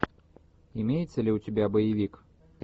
имеется ли у тебя боевик